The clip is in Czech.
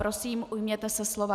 Prosím, ujměte se slova.